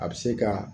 A bɛ se ka